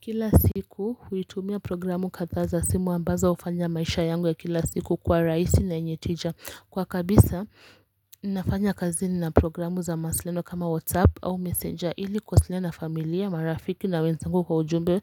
Kila siku, huitumia programu kadhaza simu ambazo ufanya maisha yangu ya kila siku kwa raisi na nyetija. Kwa kabisa, nafanya kazi na programu za masiliano kama WhatsApp au messenger ili kuwasilena familia, marafiki na wenzengu kwa ujumbe